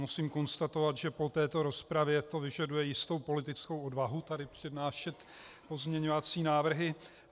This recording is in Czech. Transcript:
Musím konstatovat, že po této rozpravě to vyžaduje jistou politickou odvahu tady přednášet pozměňovací návrhy.